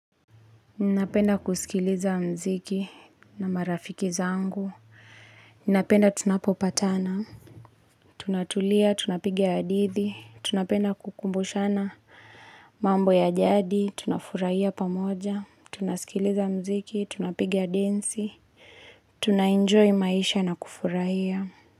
Ninapenda kusikiliza mziki na marafiki zangu. Ninapenda tunapopatana. Tunatulia, tunapiga hadithi. Tunapenda kukumbushana mambo ya jadi. Tunafurahia pamoja. Tunasikiliza mziki, tunapiga densi. Tunaenjoy maisha na kufurahia.